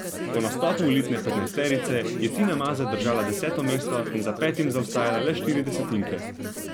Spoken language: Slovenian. Po nastopu elitne petnajsterice je Tina Maze držala deseto mesto in za petim zaostajala le štiri desetinke.